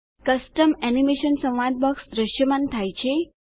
custom animation સંવાદ box દ્રશ્યમાન થાય છે